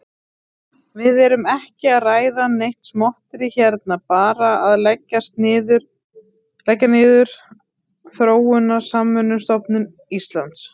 Við erum ekki að ræða neitt smotterí hérna, bara að leggja niður Þróunarsamvinnustofnun Íslands.